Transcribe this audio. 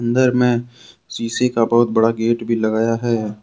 अंदर में शीशे का बहुत बड़ा गेट भी लगाया है।